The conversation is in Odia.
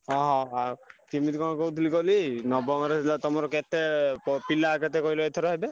ହଁ ହଁ ହଉ କିମିତି କଣ କହୁଥିଲି କହିଲି ନବମରେ ହେଲା ତମର କେତେ ପିଲା କେତେ କହିଲ ଏଥର ହେବେ?